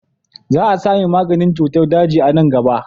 Za a sami maganin cutar daji a nan gaba.